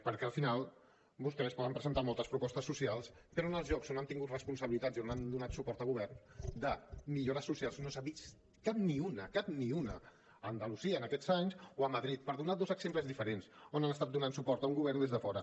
perquè al final vostès poden presentar moltes propostes socials però en els llocs on han tingut responsabilitats i on han donat suport a govern de millores socials no se n’ha vist cap ni una cap ni una a andalusia en aquests anys o a madrid per donar dos exemples diferents on han estat donant suport a un govern des de fora